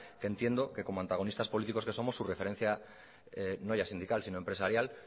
que entiendo que como antagonistas políticos que somos su referencia ya no sindical sino empresarial